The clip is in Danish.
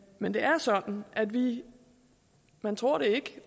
men det er sådan at vi man tror det